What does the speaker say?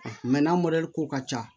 n'a mɔdɛli ko ka ca